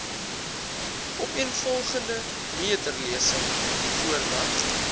opeenvolgende meterlesings voordat